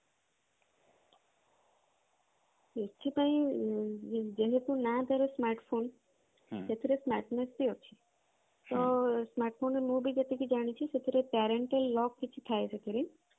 ଏଥି ପାଇଁ ଯେହେତୁ ନାଁ ତାର smartphone ସେଥିରେ smartness ବି ଅଛି ତ smartphone ରେ ମୁଁ ବି ଯେତିକି ଜାଣିଛି ସେଥିରେ parental lock କିଛି ଥାଏ ସେଥିରେ